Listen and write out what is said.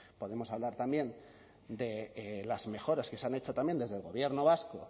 podemos hablar también de las mejoras que se han hecho también desde el gobierno vasco